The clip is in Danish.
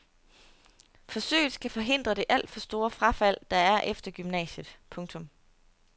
Forsøget skal forhindre det alt for store frafald der er efter gymnasiet. punktum